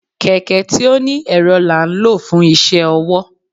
kẹkẹ tí oní erò la n lo fun iṣẹ ọwọ.